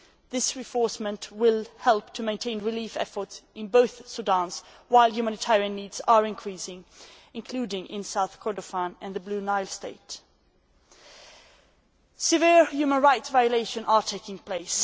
This reinforcement will help to maintain relief efforts in both Sudans while humanitarian needs are increasing, including in South Kordofan and Blue Nile State. Severe human rights violations are taking place.